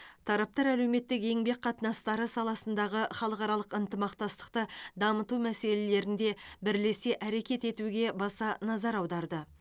тараптар әлеуметтік еңбек қатынастары саласындағы халықаралық ынтымақтастықты дамыту мәселелерінде бірлесе әрекет етуге баса назар аударды